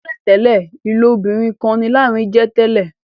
tẹlentẹle ilobirin kán ní Lanre jé tèlé